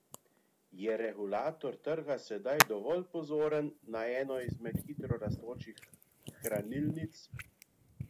Je regulator trga sedaj dovolj pozoren na eno izmed hitro rastočih hranilnic?